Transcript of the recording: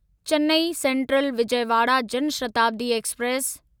Chennai central Vijayawada Jan Shatabdi express